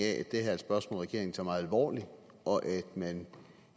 at det her spørgsmål regeringen tager meget alvorligt og at man